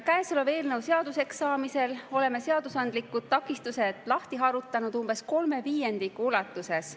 Käesoleva eelnõu seaduseks saamisel oleme seadusandlikud takistused lahti harutanud umbes kolme viiendiku ulatuses.